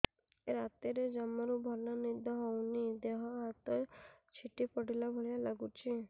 ରାତିରେ ଜମାରୁ ଭଲ ନିଦ ହଉନି ଦେହ ହାତ ଛିଡି ପଡିଲା ଭଳିଆ ଲାଗୁଚି